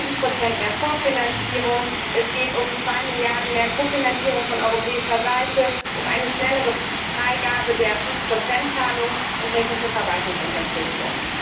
Es geht um 7 mehr Vorfinanzierung, es geht um zwei Milliarden mehr Kofinanzierung von europäischer Seite, um eine schnellere Freigabe der 5 Zahlung und technische Verwaltungsunterstützung.